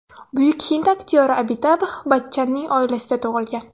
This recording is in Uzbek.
Buyuk hind aktyori Abitabx Bachchanning oilasida tug‘ilgan.